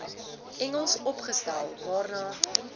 engels opgestel waarna